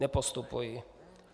Nepostupují.